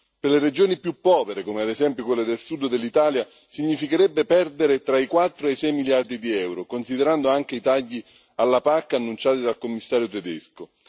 Per le regioni più povere, come ad esempio quelle del sud dell'Italia, significherebbe perdere tra i quattro e i sei miliardi di euro, considerando anche i tagli alla PAC annunciati dal Commissario tedesco.